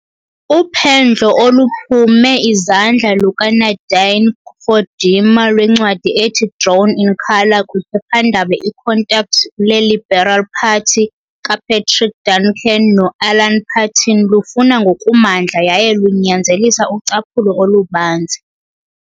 Uphendlo oluphume izandla lukaNadine Gordimer lwencwadi ethi Drawn in Colour kwiphephandaba iContact leLiberal Party kaPatrick Duncan noAlan Paton lufuna ngokumandla yaye lunyanzelisa ucaphulo olubanzi.